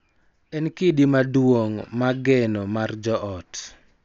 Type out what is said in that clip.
En kidi maduong� ma geno mar joot.